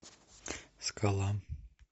скала